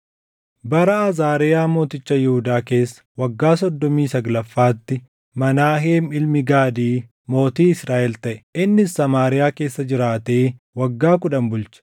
Bara Azaariyaa mooticha Yihuudaa keessa waggaa soddomii saglaffaatti Menaaheem ilmi Gaadii mootii Israaʼel taʼe; innis Samaariyaa keessa jiraatee waggaa kudhan bulche.